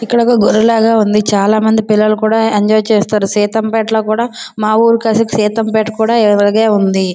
ఇక్కడ ఒక గుడిలా ఉంది. చాలా మంది పిల్లలు కూడా ఎంజయ్ చేస్తున్నారు. సీతంపేటలో కూడా మా ఊరిలో కాసి సీతంపేట కూడా ఇలానే ఉంది.